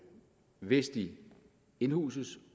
hvis de indhuses